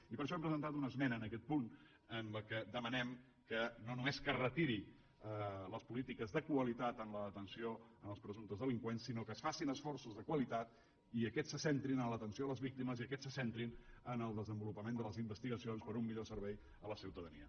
i per això hem presentat una esmena en aquest punt en la qual demanem no només que es retirin les polítiques de qualitat en la detenció als presumptes delinqüents sinó que es facin esforços de qualitat i aquests se centrin en l’atenció a les víctimes i aquests se centrin en el desenvolupament de les investigacions per a un millor servei a la ciutadania